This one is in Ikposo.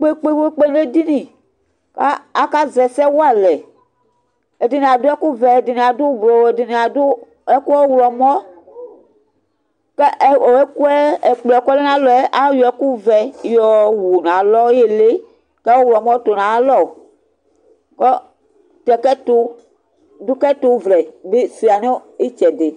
ƙpékpé ŋéɖɩŋɩ ƙaƙa zɛ ɛsɛ walɛ ɛɖɩŋɩ aɖʊ ɛƙʊ ʋɛ ɛɖɩŋɩ aɖʊ ɓlʊ, ɛɖɩŋɩ ɖʊ ɛƙʊ ɔwlɔmɔ Ɛƙplɔɛ ƙɔlɛ ŋalɔɛ aƴɔ ɛƙʊ ʋɛ ƴowʊ nalɔ ɩlɩ Ƙɔwlɔmɔ tʊ naƴalɔ ɖʊ ƙɛtʊ vlɛ sʊɩa ŋɩtsɛɖɩ